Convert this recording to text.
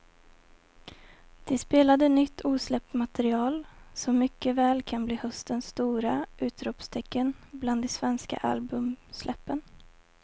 De spelade nytt osläppt material som mycket väl kan bli höstens stora utropstecken bland de svenska albumsläppen.